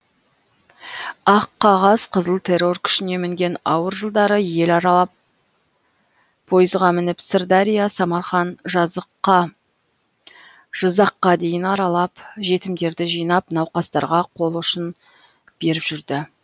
аққағаз қызыл террор күшіне мінген ауыр жылдары ел аралап пойызға мініп сырдария самарқан жызаққа дейін аралап жетімдерді жинап науқастарға қол ұшін беріп жүрді